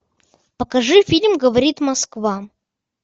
покажи фильм говорит москва